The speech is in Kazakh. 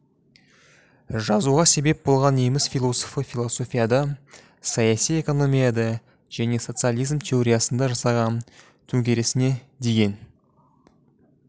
жазуға себеп болған неміс философы философияда саяси экономияда және социализм теориясында жасаған төңкерісіне деген